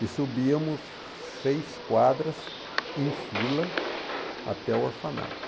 E subíamos seis quadras em fila até o orfanato.